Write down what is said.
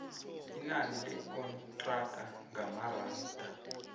inani lekontraga ngamaranda